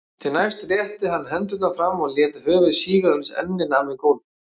Því næst rétti hann hendurnar fram og lét höfuð síga uns ennið nam við gólf.